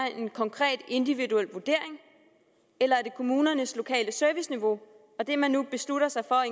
en konkret individuel vurdering eller er det kommunernes lokale serviceniveau og det man nu beslutter sig for